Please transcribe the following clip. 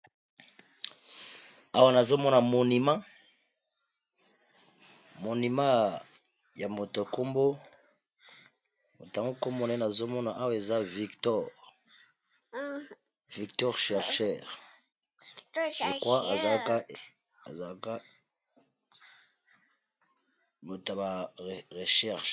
Awa nazomona monument, monument ya moto nkombo moto ango nkombo naye nazomona awa eza Victor, Victor chercheur lokua azalaka moto ya ba recherche.